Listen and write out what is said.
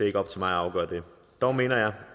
ikke op til mig at afgøre det dog mener jeg